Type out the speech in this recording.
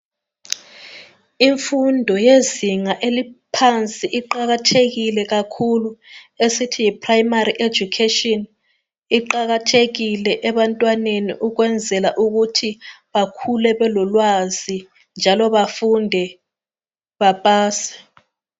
Imfundo yezinga eliphansi iqakathekile kakhulu esithi yiprimary education iqakathekile ebantwaneni ukwenzela ukuthi bakhule belolwazi njalo bafunde bapase.